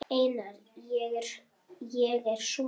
Einar, ég er sonur.